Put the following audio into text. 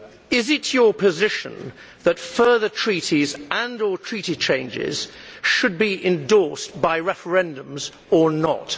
Is it your position that further treaties and or Treaty changes should be endorsed by referendums, or not?